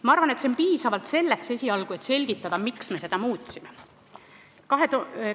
Ma arvan, et sellest esialgu piisab, et selgitada, miks me selle muudatuse tegime.